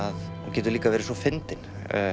getur líka verið svo fyndinn